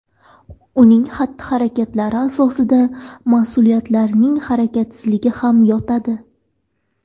Uning xatti-harakatlari asosida mas’ullarning harakatsizligi ham yotadi .